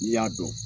N'i y'a dɔn